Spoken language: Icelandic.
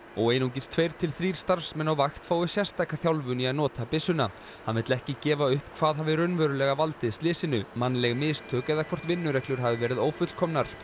og einungis tveir til þrír starfsmenn á vakt fái sérstaka þjálfun í að nota byssuna hann vill ekki gefa upp hvað hafi raunverulega valdið slysinu mannleg mistök eða hvort vinnureglur hafi verið ófullkomnar